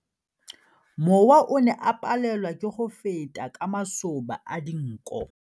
Mowa o ne o palelwa ke go feta ka masoba a dinko.